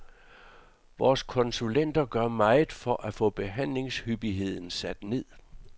Vores konsulenter gør meget for at få behandlingshyppigheden sat ned.